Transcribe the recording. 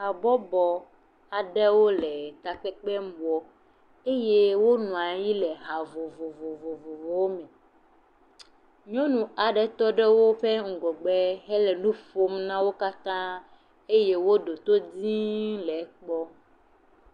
Habɔbɔ aɖe le takpekpe wɔm eye wonɔ anyi le hã vovovowo me. Nyɔnu aɖe tɔ ɖe woƒe ŋgɔ gbe hele nu ƒom na wò katã eye woɖo to dĩĩ le ekpɔm.